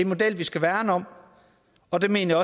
model vi skal værne om og det mener